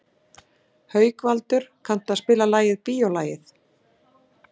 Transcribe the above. Haukvaldur, kanntu að spila lagið „Bíólagið“?